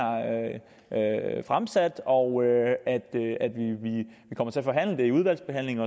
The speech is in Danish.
fremsat og vi kommer til at forhandle det i udvalgsbehandlingen